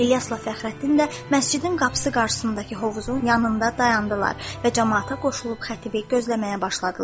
İlyasla Fəxrəddin də məscidin qapısı qabağındakı hovuzun yanında dayandılar və camaata qoşulub xətibi gözləməyə başladılar.